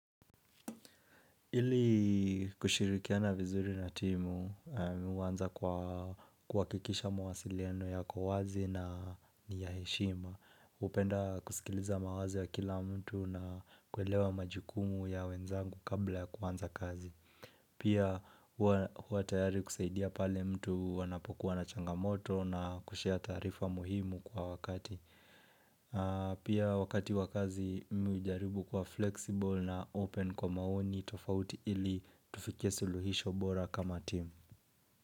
Ili kushirikiana vizuri na timu, mimi huanza kwa kuhakikisha mawasiliano yako wazi na niyaheshima. Hupenda kusikiliza mawazo ya kila mtu na kuelewa majukumu ya wenzangu kabla ya kuanza kazi. Pia hua tayari kusaidia pale mtu anapokuwa na changamoto na kushare taarifa muhimu kwa wakati. Pia wakati wa kazi mimi hujaribu kua flexible na open kwa maoni tofauti ili tufikie suluhisho bora kama team.